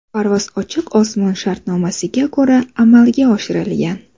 Parvoz ochiq osmon shartnomasiga ko‘ra amalga oshirilgan.